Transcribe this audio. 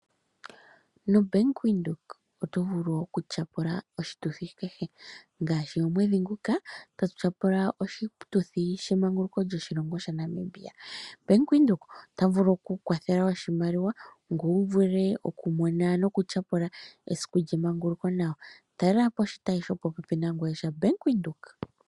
Nobank windhoek oto vulu okutyapula oshituthi kehe ngaashi omwedhi nguka tatu tyapula oshituthi shemanguluko lyoshilongo shaNamibia. Bank windhoek otavulu okuku kwathela oshimaliwa ngwe wuvule okumona noku tyapula esiku lyemanguluko nawa talelapo oshitayi shopo pepi nangweye shobank windheok.